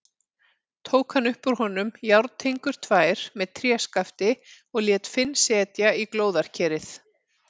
Tók hann upp úr honum járntengur tvær með tréskafti og lét Finn setja í glóðarkerið.